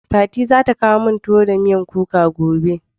Fati za ta kawo min tuwo da miyan kuka gobe.